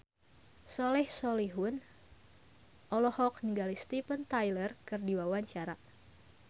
Soleh Solihun olohok ningali Steven Tyler keur diwawancara